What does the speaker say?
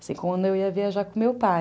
Assim como eu ia viajar com o meu pai.